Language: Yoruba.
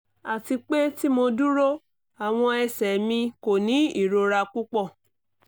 ati pe ti mo duro awọn ẹsẹ mi ko ni irora pupọ